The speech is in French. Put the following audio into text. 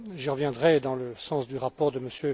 J'y reviendrai dans le sens du rapport de M.